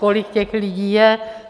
Kolik těch lidí je?